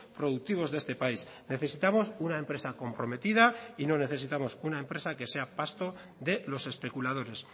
productivos de este país necesitamos una empresa comprometida y no necesitamos una empresa que sea pasto de los especuladores